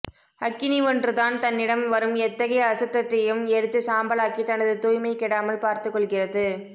அக்கினி ஒன்று தான் தன்னிடம் வரும் எத்தகைய அசுத்தத்தையும் எரித்து சாம்பலாக்கி தனது தூய்மை கெடாமல் பார்த்து கொள்கிறது